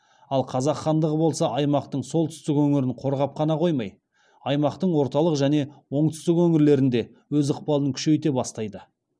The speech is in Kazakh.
ал қазақ хандығы болса аймақтың солтүстік өңірін қорғап қана қоймай аймақтың орталық және оңтүстік өңірлерінде өз ықпалын күшейте бастайды